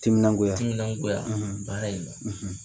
Timinangoya timinangoya baara in na